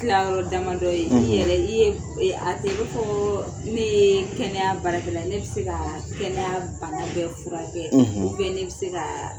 Tilayɔrɔ damadɔ ye i yɛrɛ i ye a tɛ inafɔ ko ne ye kɛnɛya baarakɛla ne bɛ se ka kɛnɛya bana bɛ furakɛ ubɛn ne bɛ se ka